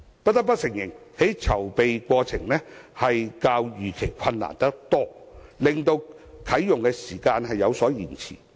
不得不承認，由於籌備過程較預期困難得多，啟用時間有所延遲。